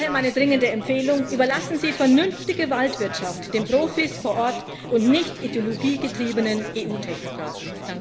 Daher meine dringende Empfehlung Überlassen Sie vernünftige Waldwirtschaft den Profis vor Ort und nicht ideologiegetriebenen EU-Technokraten!